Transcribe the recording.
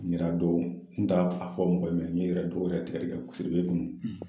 Mira don n taar'a f a fɔ mɔgɔ min ye ne yɛrɛ dow yɛrɛ tigɛ-tigɛ siribe dun